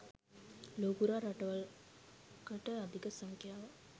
ලොව පුරා රටවල් කට අධික සංඛ්‍යාවක්